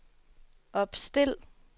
opstil